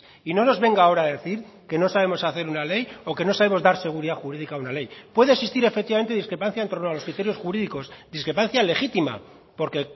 y no nos venga ahora a decir que no sabemos hacer una ley o que no sabemos dar seguridad jurídica a una ley puede existir efectivamente discrepancia en torno a los criterios jurídicos discrepancia legítima porque